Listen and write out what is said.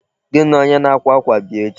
Gị na onye na-akwa akwa bịa echi.